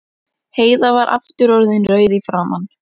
Heiða var aftur orðin rauð í framan.